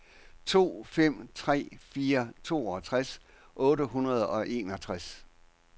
to fem tre fire toogtres otte hundrede og enogtres